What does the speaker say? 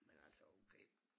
Men altså okay